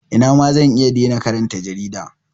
Ina ma zan iya dena karanta jarida.